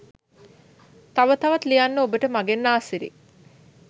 තව තවත් ලියන්න ඔබට මගෙන්ආසිරි